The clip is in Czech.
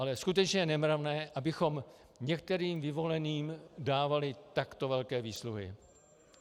Ale skutečně je nemravné, abychom některým vyvoleným dávali takto velké výsluhy.